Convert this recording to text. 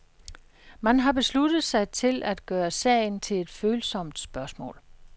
Man har besluttet sig til at gøre sagen til et følsomt spørgsmål.